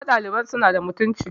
na ga ɗaliban suna da mutuncin